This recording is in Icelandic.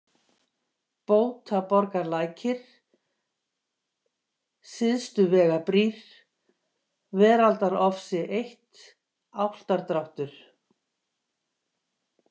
Bótaborgarlækir, Syðstuvegabrýr, Veraldadarofsi 1, Álftadráttur